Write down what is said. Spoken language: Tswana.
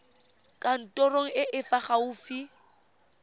kantorong e e fa gaufi